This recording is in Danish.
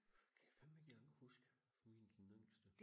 det kan jeg fandme ikke engang huske fra min den yngste